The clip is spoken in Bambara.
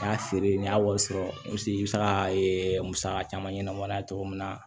N y'a feere n y'a wari sɔrɔ i bɛ se ka musaka caman ɲɛnabɔ n'a ye cogo min na